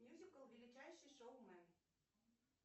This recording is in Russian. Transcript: мюзикл величайший шоумен